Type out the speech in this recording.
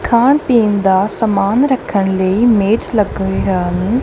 ਖਾਣ ਪੀਣ ਦਾ ਸਮਾਨ ਰੱਖਣ ਲਈ ਮੇਜ ਲੱਗਣ ਡਆ ਵੇ।